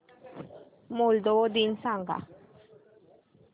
Moldova दिन सांगा